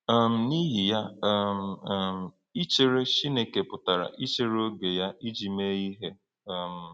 um N’ihi ya, um um ichere Chineke pụtara ichere oge ya iji mee ihe. um